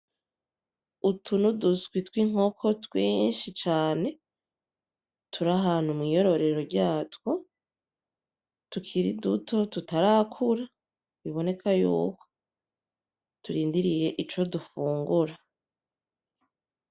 Utu ni uduswi tw'inkoko twinshi cane turi ahantu mw'iyororero ryatwo tukiri duto tutarakura biboneka yuko turindiriye ico dufungura .